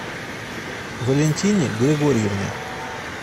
валентине григорьевне